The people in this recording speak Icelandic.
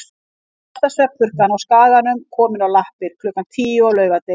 Mesta svefnpurkan á Skaganum komin á lappir klukkan tíu á laugardegi.